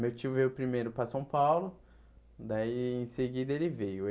Meu tio veio primeiro para São Paulo, daí em seguida ele veio.